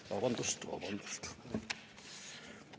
Vabandust!